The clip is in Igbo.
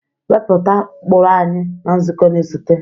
Wepụta ụkpụrụ anyị na nzukọ na-esote!